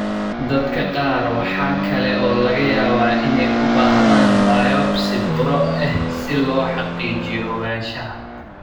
Dadka qaar waxa kale oo laga yaabaa inay u baahdaan biopsi buro ah si loo xaqiijiyo ogaanshaha.